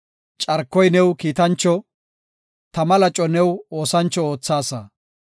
Carkoy new kiitancho, tama laco new oosancho oothaasa.